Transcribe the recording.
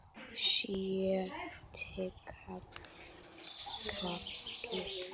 Sjötti kafli